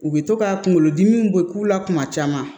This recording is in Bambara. U bɛ to ka kunkolodimiw bɔ k'u la kuma caman